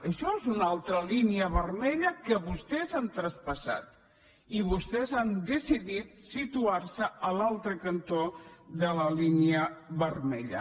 això és una altra línia vermella que vostès han traspassat i vostès han decidit situar se a l’altre cantó de la línia vermella